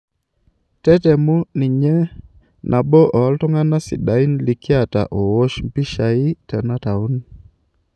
Tetemu ninye, nabo oo iltung'ana sidain likiata oowosh pishai tena taon.